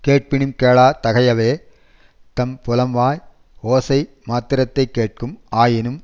கேட்பினும் கேளாத் தகையவே தம் புலமாய ஓசை மாத்திரத்தைக் கேட்கும் ஆயினும்